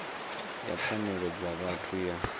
ya pfanelo dza vhathu ya